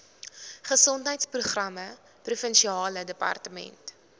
gesondheidsprogramme provinsiale departement